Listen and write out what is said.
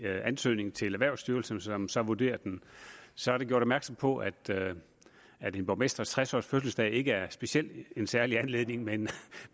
ansøgning til erhvervsstyrelsen som så vurderer den så er der gjort opmærksom på at at en borgmesters tres års fødselsdag ikke er en særlig anledning men